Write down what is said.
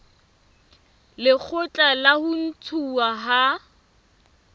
lekgotla la ho ntshuwa ha